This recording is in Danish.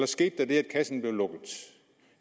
ske det at kassen blev lukket